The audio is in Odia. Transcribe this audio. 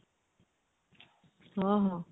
ହଁ ହଁ